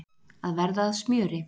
Að verða að smjöri